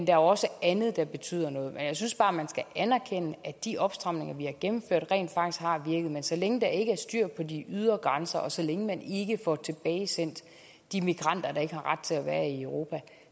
er også andet der betyder noget jeg synes bare man skal anerkende at de opstramninger vi har gennemført rent faktisk har virket men så længe der ikke er styr på de ydre grænser og så længe man ikke får tilbagesendt de migranter der ikke har ret til at være i europa